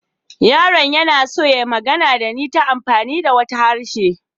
Yaron yana so ya yi magana da ni ta hanyar amfani da wata harshe.